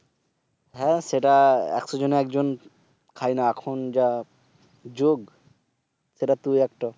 হ্যাঁ সেটা একশ জনে এক জন খায় না এখন যে যুগ। সেটা তুই একটা।